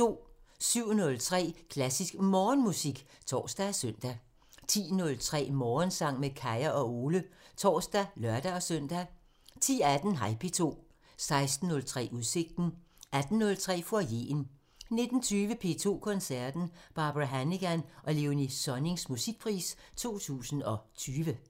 07:03: Klassisk Morgenmusik (tor og søn) 10:03: Morgensang med Kaya og Ole (tor og lør-søn) 10:18: Hej P2 16:03: Udsigten 18:03: Foyeren 19:20: P2 Koncerten – Barbara Hannigan og Léonie Sonnings Musikpris 2020